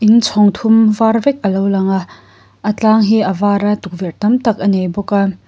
in chhâwng thum vâr vek a lo lang a a tlâng hi a vâr a tukverh tam tak a nei bawk a.